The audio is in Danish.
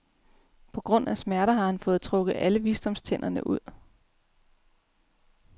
På grund af smerter har han fået trukket alle visdomstænderne ud.